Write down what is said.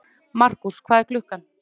Markús, hvað er klukkan?